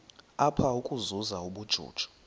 apha ukuzuza ubujuju